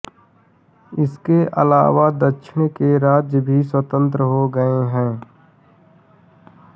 इसके अलावा दक्षिण के राज्य भी स्वतंत्र हो गए